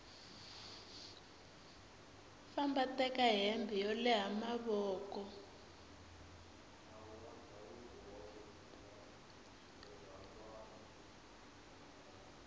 famba teka hembe yo leha mavoko